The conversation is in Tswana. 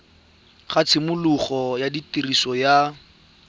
ga tshimologo ya tiriso ya